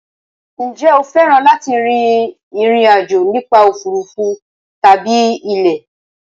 Ǹjẹ́ o fẹ́ràn láti rin ìrìn àjò nípa òfuurufú tàbí ilẹ̀?